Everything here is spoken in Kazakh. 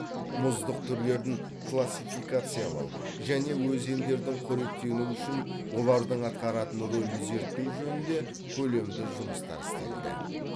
мұздық түрлерін классификациялау және өзендердің қоректенуі үшін олардың атқаратын ролін зерттеу жөнінде көлемді жұмыстар істелді